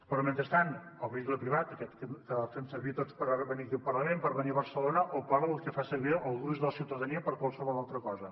però mentrestant el vehicle privat aquest que fem servir tots per venir aquí al parlament per venir a barcelona o el que fa servir el gruix de la ciutadania per a qualsevol altra cosa